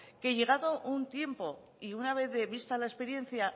que llegado un tiempo y una vez de vista la experiencia